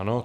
Ano.